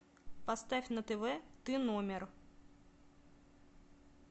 поставь на тв ты номер